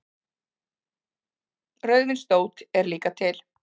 Rauðvindótt er líka til.